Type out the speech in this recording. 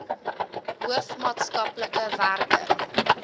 hoof maatskaplike werker